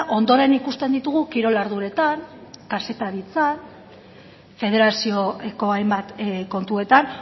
ondoren ikusten ditugu kirol arduretan kazetaritzan federazioko hainbat kontuetan